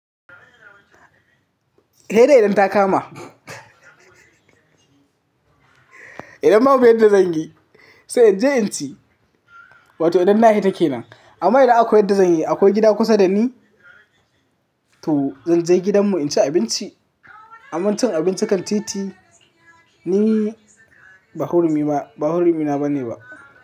Sai dai idan ta kama. Idan ma babu inda zan yi, sai in je in ci. Wato idan na hita ke nan. Amma idan akwai inda zan yi, akwai gida kusa da ni, to zan je gidanmu in ci abinci. Amma cin abinci kan titi ni ba hurumi na bane ba.